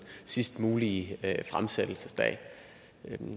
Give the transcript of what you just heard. sidste mulige fremsættelsesdato jeg